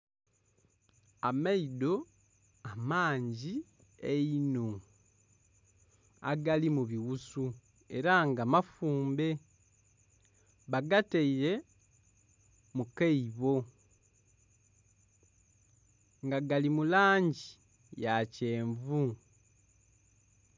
Amaido amangi einho, agali mu bighusu ela nga mafumbe. Bagataile mu kaibo nga gali mu langi ya kyenvu.